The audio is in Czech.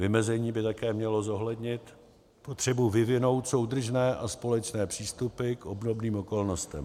Vymezení by také mělo zohlednit potřebu vyvinout soudržné a společné přístupy k obdobným okolnostem.